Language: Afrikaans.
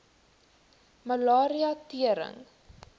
malaria tering